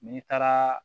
N'i taara